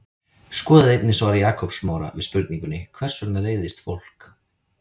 Skoðið einnig svar Jakobs Smára við spurningunni Hvers vegna reiðist fólk?